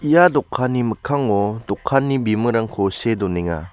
ia dokanni mikkango dokanni bimingrangko see donenga.